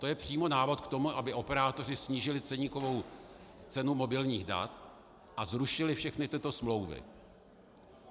To je přímo návod k tomu, aby operátoři snížili ceníkovou cenu mobilních dat a zrušili všechny tyto smlouvy.